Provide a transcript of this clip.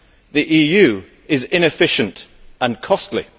the EU is inefficient and costly.